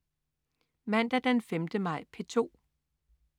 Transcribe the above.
Mandag den 5. maj - P2: